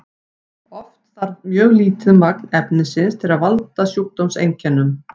oft þarf mjög lítið magn efnisins til að valda sjúkdómseinkennum